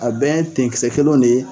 A bɛ tenkisɛ kelen de ye.